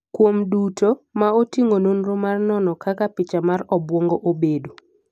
kuom duto, ma oting'o nonro mar nono kaka picha mar obwongo obedo